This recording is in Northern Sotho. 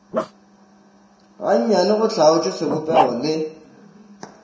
gannyane go hlaotšwe sebopego le